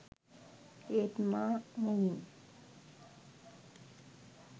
ඒත් මා මුවින්